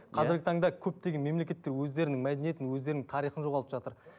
қазіргі таңда көптеген мемлекетте өздерінің мәдениетін өздерінің тарихын жоғалтып жатыр